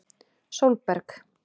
Sólberg